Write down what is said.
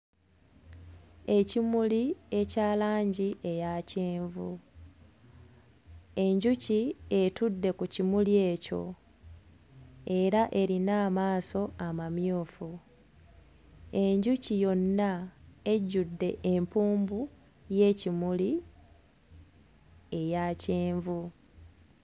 Ekimuli ekya langi eya kyenvu enjuki etudde ku kimuli ekyo era erina amaaso amamyufu enjuki yonna ejjudde empumbu y'ekimuli eya kyenvu.